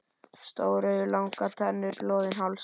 Stór augu, langar tennur, loðinn háls.